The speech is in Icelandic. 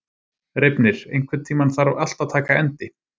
Reifnir, einhvern tímann þarf allt að taka enda.